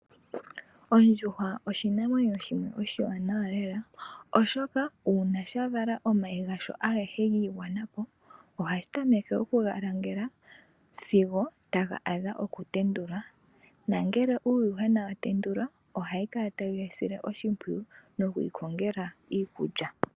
Ondjuhwa oshinamwenyo shimwe oshiwanawa lela, uuna ngele sha vala omayi gasho giigwanapo, ohashi tameke okuga langela sigo taga adha okutendulwa, nongele uuyuhwena watendulwa ohashi kala tashi wusile oshimpwiyu, nokuwu kongela iikulya.